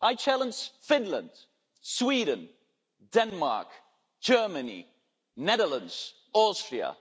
I challenge Finland, Sweden, Denmark, Germany, Netherlands, Austria.